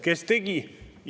Kes tegi?